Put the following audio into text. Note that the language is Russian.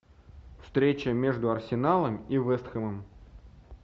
встреча между арсеналом и вест хэмом